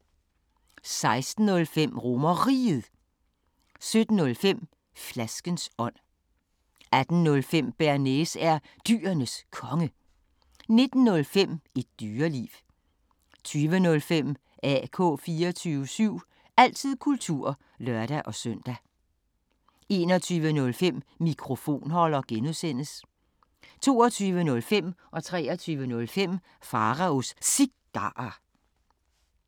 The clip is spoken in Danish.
16:05: RomerRiget 17:05: Flaskens ånd 18:05: Bearnaise er Dyrenes Konge 19:05: Et Dyreliv 20:05: AK 24syv – altid kultur (lør-søn) 21:05: Mikrofonholder (G) 22:05: Pharaos Cigarer 23:05: Pharaos Cigarer